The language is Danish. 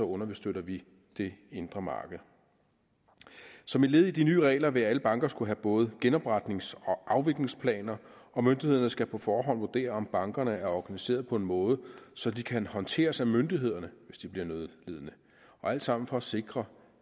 understøtter vi det indre marked som et led i de nye regler vil alle banker skulle have både genopretnings og afviklingsplaner og myndighederne skal på forhånd vurdere om bankerne er organiseret på en måde så de kan håndteres af myndighederne hvis de bliver nødlidende alt sammen for at sikre